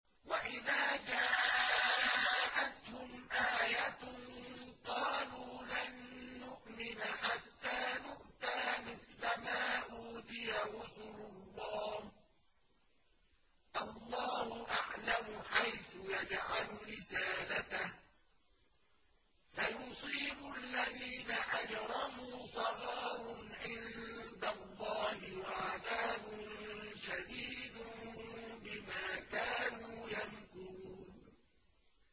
وَإِذَا جَاءَتْهُمْ آيَةٌ قَالُوا لَن نُّؤْمِنَ حَتَّىٰ نُؤْتَىٰ مِثْلَ مَا أُوتِيَ رُسُلُ اللَّهِ ۘ اللَّهُ أَعْلَمُ حَيْثُ يَجْعَلُ رِسَالَتَهُ ۗ سَيُصِيبُ الَّذِينَ أَجْرَمُوا صَغَارٌ عِندَ اللَّهِ وَعَذَابٌ شَدِيدٌ بِمَا كَانُوا يَمْكُرُونَ